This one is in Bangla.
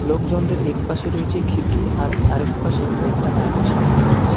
লোকজনদের একপাশে রয়েছে খিড়কি আর আরএকপাশে কয়েকটা আয়না সাজিয়ে রাখা আছে।